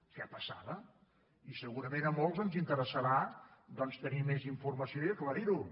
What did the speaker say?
què passava i segurament a molts ens interessarà doncs tenir més informació i aclarir ho